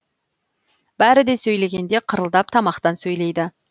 бәрі де сөйлегенде қырылдап тамақтан сөйлейді